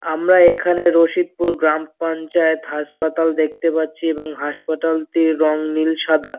আমরা এখানে রশিদপুর গ্রামপঞ্চায়েত হাঁসপাতাল দেখতে পারছি হাঁসপাতাল তির রং নীল সাদা ।